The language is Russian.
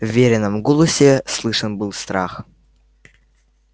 в верином голосе слышен был страх